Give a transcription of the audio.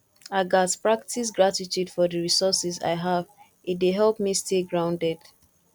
i gats practice gratitude for the resources i have e dey help me stay grounded